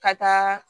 Ka taa